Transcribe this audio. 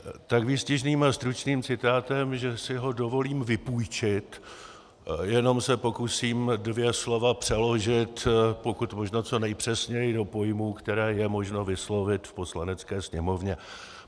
Tak výstižným a stručným citátem, že si ho dovolím vypůjčit, jenom se pokusím dvě slova přeložit pokud možno co nejpřesněji do pojmů, které je možno vyslovit v Poslanecké sněmovně.